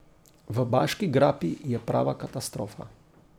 V Baški grapi je prava katastrofa.